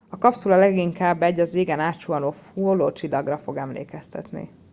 a kapszula leginkább egy az égen átsuhanó hullócsillagra fog emlékeztetni